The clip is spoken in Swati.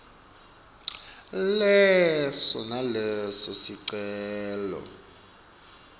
leso naleso sicelo